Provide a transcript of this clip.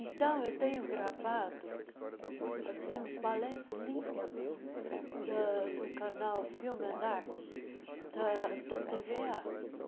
Então, eu tenho gravado assim uns balés lindos da do canal Film and Arts, da da TVA.